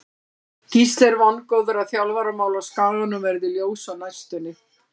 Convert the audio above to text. Gísli er vongóður að þjálfaramál á Skaganum verði ljós á næstunni.